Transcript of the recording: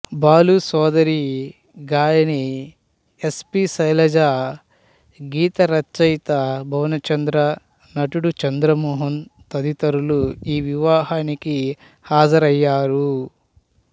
బాలు సోదరి గాయని S P Sailaja గీత రచయిత భువనచంద్ర నటుడు చంద్రమోహన్ తదితరులు ఈ వివాహానికి హాజరయ్యారు